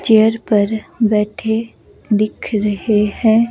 Chair पर बैठे दिख रहे हैं।